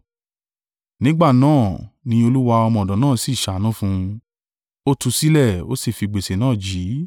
Nígbà náà, ni olúwa ọmọ ọ̀dọ̀ náà sì ṣàánú fún un. Ó tú u sílẹ̀, ó sì fi gbèsè náà jì í.